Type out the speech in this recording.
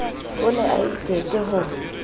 o ne a ikete ho